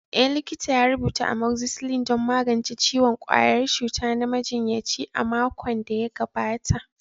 Eh, likita ya rubuta Amoxicillin don magance ciwon ƙwayar cuta na majinyaci a makon da ya gabata.